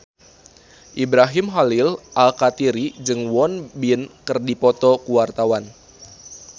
Ibrahim Khalil Alkatiri jeung Won Bin keur dipoto ku wartawan